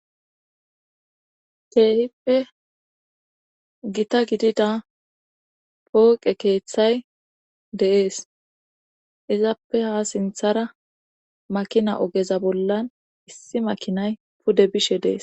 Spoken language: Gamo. keehippe gita gidida pooqe keeththay deees izappe ha sinthara makina ogeza bollan issi makinay pude bishe deees